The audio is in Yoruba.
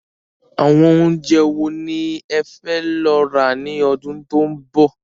Àwọn oúnjẹ wo ni ẹ fẹ́ lọ rà ni ọdún tó ń bọ̀?